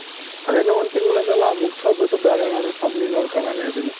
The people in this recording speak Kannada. ಅದು ಏನೋ ಒಂದು ತಿಂಗಳದಲ್ಲ ಮುಗ್ಸಿ ಹೋಗ್ಬಿಟ್ಟು ಬೇರೆ ಏನಾದ್ರೂ company ನ ನೋಡ್ಕೊಳ್ಳಣ ಅಂತ ಇದ್ದೀನಿ